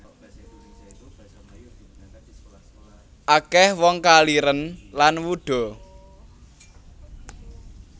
Akeh wong kaliren lan wuda